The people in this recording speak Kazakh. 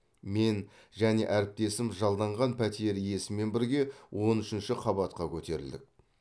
мен және әріптесім жалданған пәтер иесімен бірге он үшінші қабатқа көтерілдік